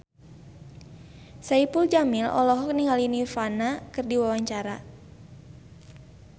Saipul Jamil olohok ningali Nirvana keur diwawancara